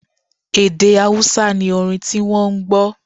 Èdè Awúsá ni orin ti wọ́ n gbọ́